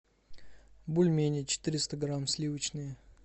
бульмени четыреста грамм сливочные